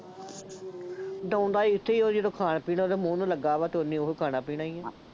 ਉਡਾਉਂਦਾ ਇੱਥੇ ਹੀ ਉਹ ਜਦੋਂ ਖਾਣ ਪੀਣ ਉਹਦੇ ਮੂੰਹ ਨੂੰ ਲੱਗਾ ਵਾ ਅਤੇ ਉਹਨੇ ਉਹ ਖਾਣਾ ਪੀਣਾ ਹੀ ਆ,